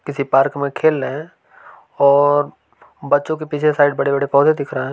किसी पार्क में खेल रहे हैं और बच्चों के पीछे साइड बड़े बड़े पौधे दिख रहे हैं।